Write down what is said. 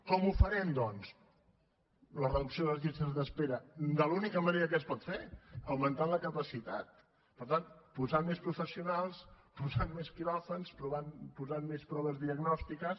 com la farem doncs la reducció de les llistes d’espera de l’única manera que es pot fer augmentant la capacitat per tant posant més professionals posant més quiròfans posant més proves diagnòstiques